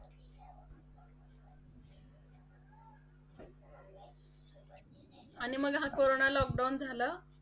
आणि मग हा कोरोना lockdown झाले,